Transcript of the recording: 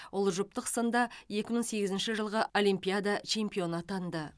ол жұптық сында екі мың сегізінші жылғы олимпиадада чемпионы атанды